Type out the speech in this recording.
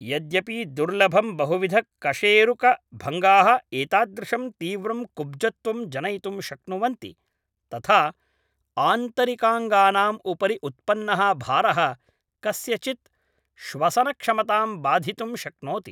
यद्यपि दुर्लभम् बहुविधकशेरुकभङ्गाः एतादृशं तीव्रं कुब्जत्वं जनयितुं शक्नुवन्ति तथा आन्तरिकाङ्गानाम् उपरि उत्पन्नः भारः कस्यचित् श्वसनक्षमतां बाधितुं शक्नोति